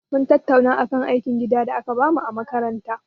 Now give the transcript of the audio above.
Mun tattauna akan aikin gida da aka bamu a makaranta.